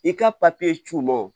I ka papiye cun